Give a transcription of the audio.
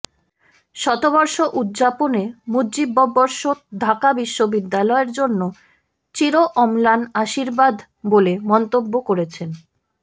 শতবর্ষ উদযাপনে মুজিববর্ষ ঢাকা বিশ্ববিদ্যালয়ের জন্য চিরঅম্লান আশীর্বাদ বলে মন্তব্য করেছেন